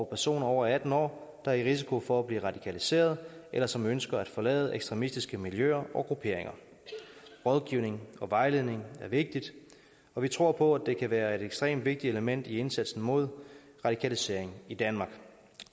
personer over atten år der er i risiko for at blive radikaliseret eller som ønsker at forlade ekstremistiske miljøer og grupperinger rådgivning og vejledning er vigtigt og vi tror på at det kan være et ekstremt vigtigt element i indsatsen mod radikalisering i danmark